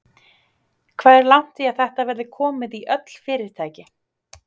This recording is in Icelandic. Hvað er langt í að þetta verði komið í öll fyrirtæki?